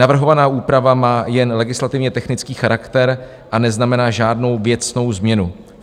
Navrhovaná úprava má jen legislativně technický charakter a neznamená žádnou věcnou změnu.